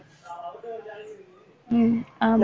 உம் ஆமா